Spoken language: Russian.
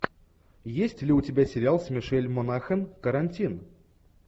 есть ли у тебя сериал с мишель монахэн карантин